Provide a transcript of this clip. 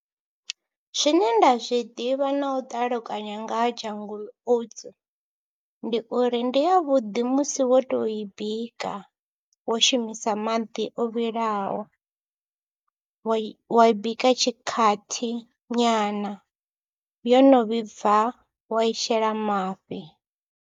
Zwine nda zwi ḓivha na u ṱalukanya nga ha Jungle Oats ndi uri ndi yavhuḓi musi wo tou i bika, wo shumisa maḓi o vhilaho, wa i wa i bika tshikhathi nyana yo no vhibva wa i shela mafhi.